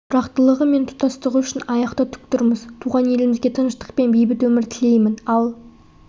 тұрақтылығы мен тұтастығы үшін аяқта тік тұрмыз туған еліме тыныштық пен бейбіт өмір тілеймін ал